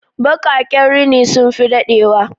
Bakaƙen rini sun fi daɗe wa